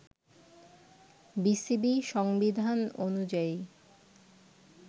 BCB সংবিধান অনুযায়ী